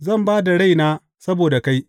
Zan ba da raina saboda kai.